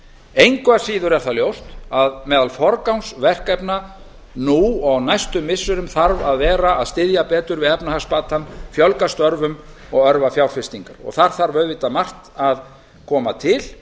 engu að síður er það ljóst að meðal forgangsverkefna nú og á næstu missirum þarf að vera að styðja betur við efnahagsbatann fjölga störfum og örva fjárfestingar þar þarf auðvitað margt að koma til